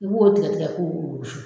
I b'o tigi ka kow